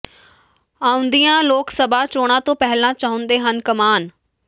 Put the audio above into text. ਆਉਂਦੀਆਂ ਲੋਕ ਸਭਾ ਚੋਣਾਂ ਤੋਂ ਪਹਿਲਾਂ ਚਾਹੁੰਦੇ ਹਨ ਕਮਾਨ